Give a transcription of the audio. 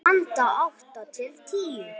Handa átta til tíu